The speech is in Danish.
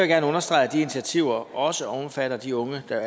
gerne understrege at de initiativer også omfatter de unge der